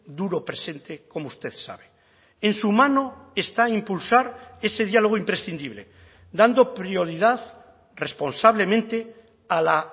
duro presente como usted sabe en su mano está impulsar ese diálogo imprescindible dando prioridad responsablemente a la